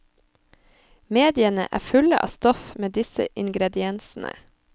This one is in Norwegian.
Mediene er fulle av stoff med disse ingrediensene.